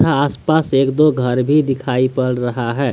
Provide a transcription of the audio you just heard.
यहां आस पास एक दो घर भी दिखाई पड़ रहा है।